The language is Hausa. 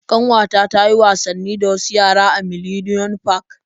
Ƙanwata ta yi wasanni da wasu yara a Millennium park.